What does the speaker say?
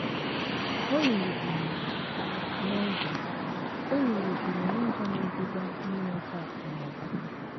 Olulu juru n’ụzọ Olulu juru n’ụzọ na - eduga n’inweta akụ̀ na ụba!